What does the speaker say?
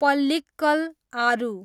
पल्लिक्कल आरु